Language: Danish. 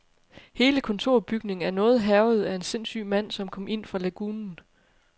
Hele kontorbygningen er noget hærget af en sindssyg mand som kom ind fra lagunen.